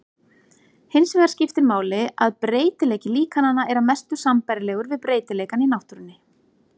Hinsvegar skiptir máli að breytileiki líkananna er að mestu sambærilegur við breytileikann í náttúrunni.